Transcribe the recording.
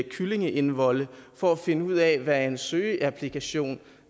kyllingeindvolde for at finde ud af hvad en søgeapplikation